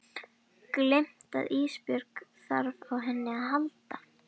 Gleymt að Ísbjörg þarf á henni að halda.